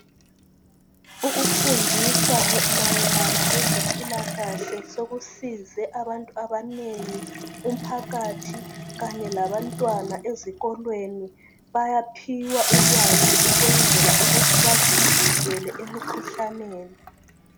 Ukufundisa mayelana lezempilakahle sokusize abantu abanengi .Umphakathi Kanye labantwana ezikolweni .Bayaphiwa ulwazi ukwenzela ukuthi bazivikele emkhuhlaneni .